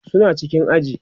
suna cikin aji